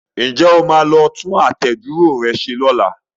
Ǹjẹ́ o máa lọ tún àtẹ̀dúró rẹ ṣe ní ọlá?